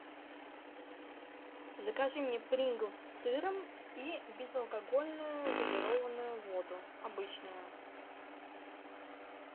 закажи мне принглс с сыром и безалкогольную газированную воду обычную